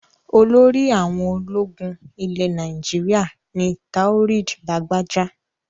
Olórí àwọn ológun ilẹ̀ Nàìjíríà ni Taoreed Lagbaja.